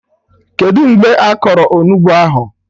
Kedụ mgbe a kọrọ Onugbu ahụ?